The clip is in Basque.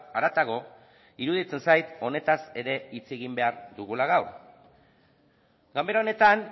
haratago iruditzen zait honetaz ere hitz egin behar dugula gaur ganbara honetan